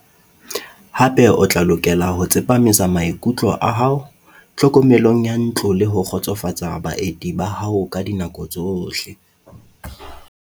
Hape o tla lokela ho tsepamisa maikutlo a hao tlhokomelong ya ntlo le ho kgotsofatsa baeti ba hao ka dinako tsohle.